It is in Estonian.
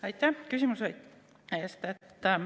Aitäh küsimuse eest!